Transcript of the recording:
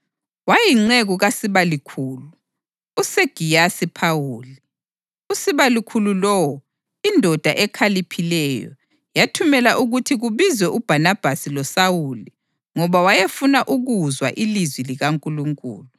wayeyinceku kasibalukhulu, uSegiyasi Phawuli. Usibalukhulu lowo, indoda ekhaliphileyo, yathumela ukuthi kubizwe uBhanabhasi loSawuli ngoba wayefuna ukuzwa ilizwi likaNkulunkulu.